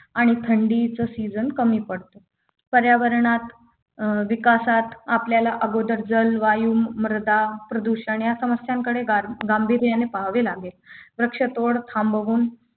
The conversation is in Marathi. आणि थंडीचा season कमी पडतो पर्यावरणात अं विकासात आपल्याला अगोदर जलवायू मृदा प्रदूषण या समस्यांकडे गर्मी गांभीर्याने पाहावे लागेल वृक्षतोड थांबवून